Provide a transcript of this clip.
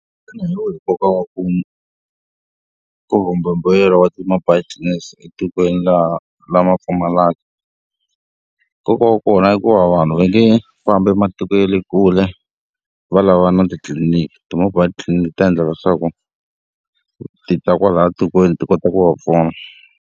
Xana hi wihi nkoka wa ku kumbe mbuyelo wa ti-mobile clinics etikweni laha lama pfumalaka? Nkoka wa kona i ku va vanhu va nge fambi matiko ya le kule va lavana na titliliniki. Ti-mobile clinic ti ta endla leswaku ti ta kwalaya tikweni ti kota ku va pfuna.